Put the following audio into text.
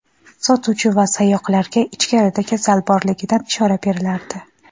sotuvchi va sayoqlarga ichkarida kasal borligidan ishora berilardi.